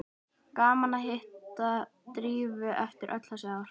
Gaman að hitta Drífu eftir öll þessi ár.